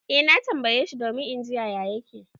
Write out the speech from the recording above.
Eh na tambaye shi domin in ji yaya yake.